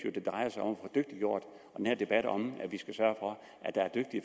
jo den her debat om at vi skal sørge